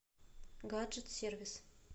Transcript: гаджет сервис